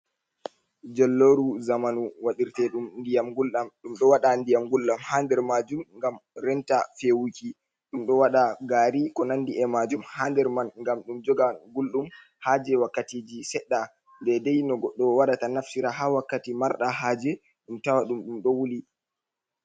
Jollooru zamanu waɗirteeɗum ndiyam gulɗam, ɗum ɗo waɗa ndiyam gulɗam haa nder maajum, ngam renta feewuki. Ɗum ɗo waɗa gaari, ko nanndi e maajum, haa nder man, ngam ɗum joga gulɗum, haa jey wakkatiiji seɗɗa, deydey no goɗɗo waɗata naftira, haa wakkati marɗa haaje, ɗum tawa ɗum, ɗum ɗo wuli.